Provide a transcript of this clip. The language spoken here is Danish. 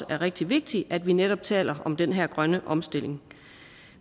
er rigtig vigtigt at vi netop taler om den her grønne omstilling